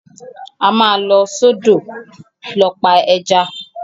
A máa lọ sọ́dọ̀ lọ pa ẹja.